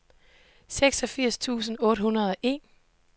seksogfirs tusind otte hundrede og en